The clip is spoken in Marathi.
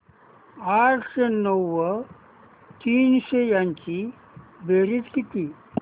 आठशे नऊ व तीनशे यांची बेरीज किती